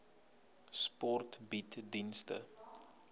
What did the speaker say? sport bied dienste